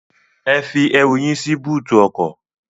Ẹ fi ẹrù yín sí bóótù ọkọ.